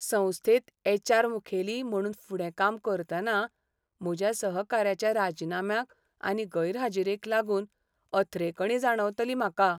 संस्थेंत H. R. मुखेली म्हणून फुडें काम करतना म्हज्या सहकाऱ्याच्या राजीनाम्याक आनी गैरहाजिरेक लागून अथ्रेकणी जाणवतली म्हाका.